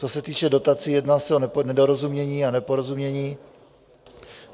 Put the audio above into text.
Co se týče dotací, jedná se o nedorozumění a neporozumění.